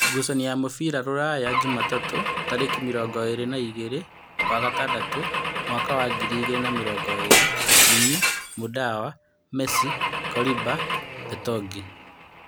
Ngucanio cia mũbira Rūraya Jumatatũ tarĩki mĩrongo ĩrĩ na igĩrĩ wa gatandatũ mwaka wa ngiri igĩrĩ na mĩrongo ĩrĩ: Jimi, Mũndawa, Mesi, Korimba, Betogeni